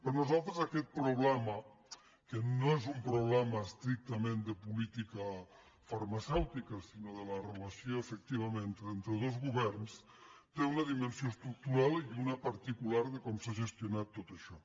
per nosaltres aquest problema que no és un problema estrictament de política farmacèutica sinó de la relació efectivament entre dos governs té una dimensió estructural i una de particular de com s’ha gestionat tot això